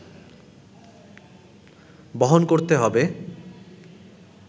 বহন করতে হবে